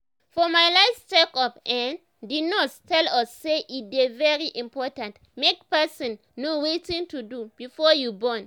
for my last check up[um]the nurse tell us say e dey very important make person know wetin to do before you born